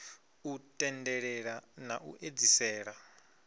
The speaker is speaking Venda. u tendelela na u edzisela